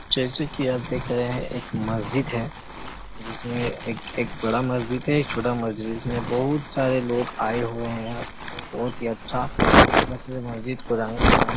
जैसे की आप देख रहे हैं एक मस्जिद हैं जिसमे एक एक बड़ा एक मस्जिद हैं छोटा मस्जिद हैं जिसमे बहोत सारे लोग आए हुए हैं और बहोत अच्छा मस्जिद रंग बिरंग--